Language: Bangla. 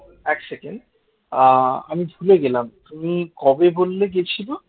এক সেকেন্ড আহ আমি ভুলে গেলাম তুমি কবে বললে গেছিল?